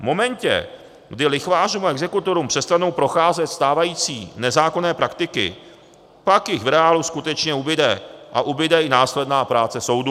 V momentě, kdy lichvářům a exekutorům přestanou procházet stávající nezákonné praktiky, pak jich v reálu skutečně ubude a ubude i následná práce soudů.